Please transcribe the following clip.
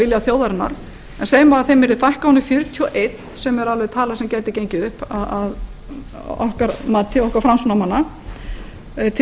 vilja þjóðarinnar en segjum að þeim yrði fækkað ofan í fjörutíu og eitt sem er tala sem gæti gengið upp að okkar mati okkar framsóknarmanna til